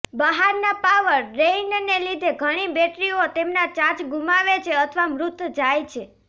બહારના પાવર ડ્રેઇનને લીધે ઘણી બેટરીઓ તેમના ચાર્જ ગુમાવે છે અથવા મૃત જાય છે